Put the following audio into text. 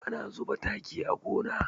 Ana zuba taki a gona.